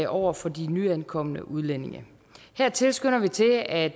over for de nyankomne udlændinge her tilskynder vi til at